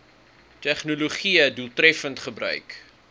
tegnologië doeltreffend gebruik